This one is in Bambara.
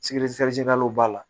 b'a la